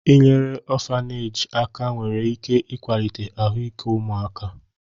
Inyere ọfaneeji aka nwere ike ịkwalite ahụike ụmụaka.